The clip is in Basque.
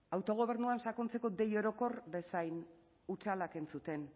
autogobernuan sakontzeko deia orokor bezain hutsalak entzuten